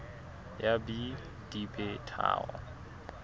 ya b di be tharo